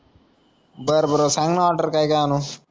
बर बर सांगना ऑर्डर काय कायआणू